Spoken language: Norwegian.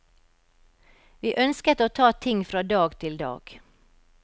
Vi ønsket å ta ting fra dag til dag.